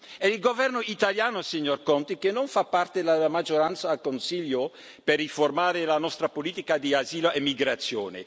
È il Governo italiano, signor Conte, che non fa parte della maggioranza al Consiglio per riformare la nostra politica di asilo e migrazione.